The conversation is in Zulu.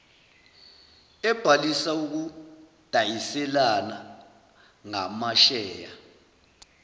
ebhalisa ukudayiselana ngamasheya